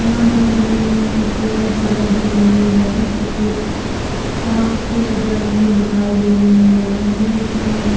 यहाँ पर हमे एक सरक दिख रही है जो साप की सकल में दिखाई दे रही है हमे इसमें एक--